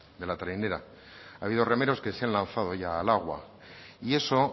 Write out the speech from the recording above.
de la trainera ha habido remeros que se han lanzado ya al agua y eso